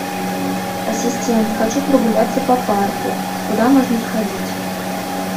ассистент хочу прогуляться по парку куда можно сходить